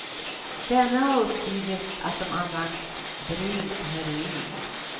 Denne har uppgivit att de använt brunt heroin.